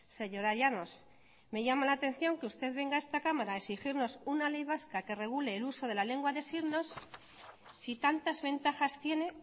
señora llanos me llama la atención que usted venga a esta cámara a exigirnos una ley vasca que regule el uso de la lengua de signos si tantas ventajas tiene